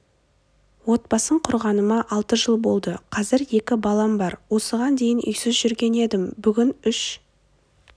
отбасын құрғаныма алты жыл болды қазір екі балам бар осыған дейін үйсіз жүрген едім бүгін үш